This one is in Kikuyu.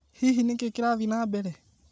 Hihi nĩ kĩĩ kĩrathiĩ na mbere?